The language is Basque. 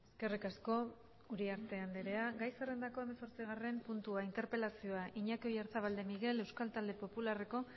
eskerrik asko uriarte andrea gai zerrendako hemezortzigarren puntua interpelazioa iñaki oyarzabal de miguel euskal talde popularreko